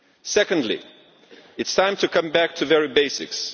Secondly, it is time to come back to the very basics.